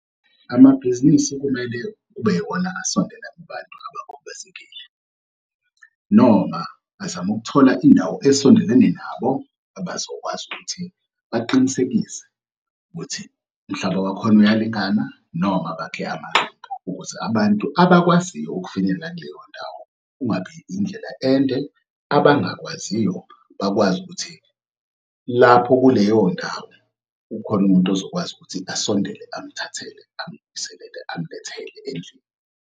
Amabhizinisi kumele kube yiwona asondela kubantu abakhubazekile noma azame ukuthola indawo esondelene nabo abazokwazi ukuthi baqinisekise ukuthi umhlaba wakhona uyalingana noma bakhe amaqembu ukuthi abantu abakwaziyo ukufinyelela kuleyo ndawo kungabi indlela ende. Abangakwaziyo bakwazi ukuthi lapho kuleyo ndawo ukhona umuntu ozokwazi ukuthi asondele amthathele amlethele endlini.